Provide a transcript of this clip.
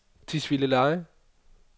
Tisvildeleje